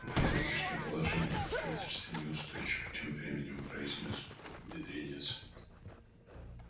моё нынешнее положение в правительстве неустойчиво тем временем произнёс бедренец